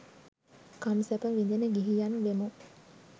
කම් සැප විඳින ගිහියන් වෙමු.